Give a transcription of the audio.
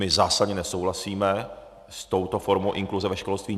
My zásadně nesouhlasíme s touto formou inkluze ve školství.